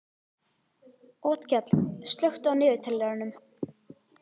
Otkell, slökktu á niðurteljaranum.